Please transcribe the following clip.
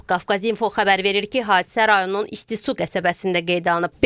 Qafqaz İnfo xəbər verir ki, hadisə rayonun istisu qəsəbəsində qeydə alınıb.